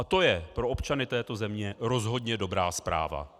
A to je pro občany této země rozhodně dobrá zpráva.